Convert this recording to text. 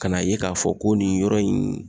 Ka na ye ka fɔ ko nin yɔrɔ in